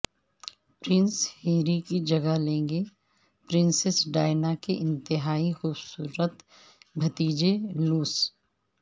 prince Harry کی جگہ لیں گے پرنسیزڈائنا کےانتہائی خوبصورت بھتیجے لوئس